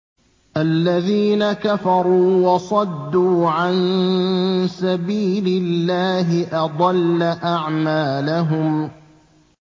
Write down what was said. الَّذِينَ كَفَرُوا وَصَدُّوا عَن سَبِيلِ اللَّهِ أَضَلَّ أَعْمَالَهُمْ